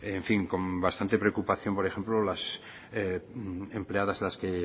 con bastante preocupación por ejemplo las empleadas las que